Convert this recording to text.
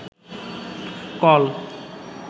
call